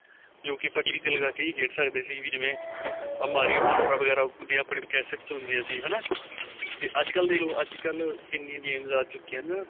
ਜੋ ਕੀ ਆਪਾਂ TV ਤੇ ਲਗਾ ਕੇ ਹੀ ਖੇਡ ਸਕਦੇ ਸੀ Mario contra ਵਗੈਰਾ ਜੇ ਆਪਣੇ caste ਚ ਹੁੰਦੀਆਂ ਸੀ ਹਨਾ ਤੇ ਅੱਜਕਲ ਦੇਖਲੋ ਅੱਜਕਲ ਕਿੰਨੀਆਂ games ਆ ਚੁਕੀਆਂ ਨੇ